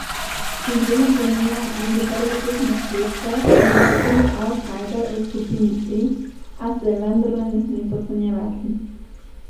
Izredno pomembna bo že prva tekma s Švedsko, ki je na papirju avtsajder v skupini E, a se je vendarle ne sme podcenjevati.